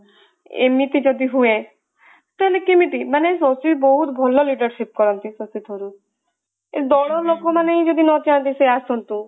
ଏମିତି ଯଦି ହୁଏ ତାହେଲେ କେମିତି ମାନେ ଶକ୍ତି ବହୁତ ଭଲ leadership କରନ୍ତି ଶକ୍ତିସ୍ୱରୂପ ଏ ଦଳ ଲୋକ ମାନେ ଯଦି ନ ଚାହାନ୍ତି ସେ ଆସନ୍ତୁ